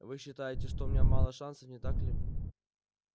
вы считаете что у меня мало шансов не так ли